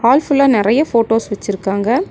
Hall ஃபுல்லா நெறைய photos வச்சிருக்காங்க.